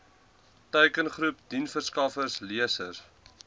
teikengroep diensverskaffers lesers